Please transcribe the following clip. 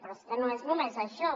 però és que no és només això